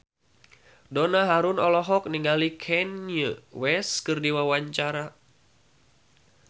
Donna Harun olohok ningali Kanye West keur diwawancara